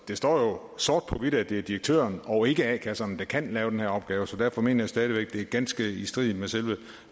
det står jo sort på hvidt at det er direktøren og ikke a kasserne der kan lave den her opgave så derfor mener jeg stadig væk det er ganske i strid med selve